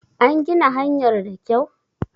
An gina hanyar da kyau?